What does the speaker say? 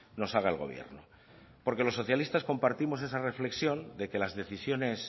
nos haga el gobierno porque los socialistas compartimos esa reflexión de que las decisiones